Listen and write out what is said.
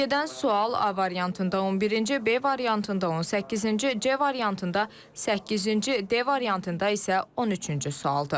Sözügedən sual A variantında 11-ci, B variantında 18-ci, C variantında səkkizinci, D variantında isə 13-cü sualdır.